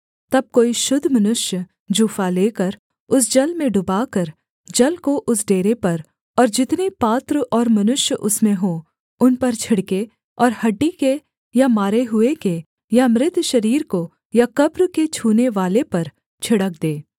तब कोई शुद्ध मनुष्य जूफा लेकर उस जल में डुबाकर जल को उस डेरे पर और जितने पात्र और मनुष्य उसमें हों उन पर छिड़के और हड्डी के या मारे हुए के या मृत शरीर को या कब्र के छूनेवाले पर छिड़क दे